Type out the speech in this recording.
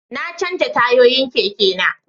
Na canja tayoyin keke na